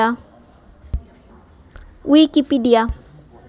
Wikipedia